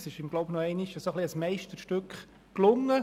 Es ist ihm, denke ich, nochmals ein Meisterstück gelungen.